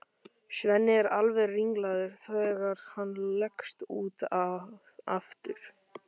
Svenni er alveg ringlaður þegar hann leggst út af aftur.